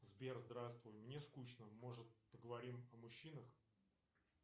сбер здравствуй мне скучно может поговорим о мужчинах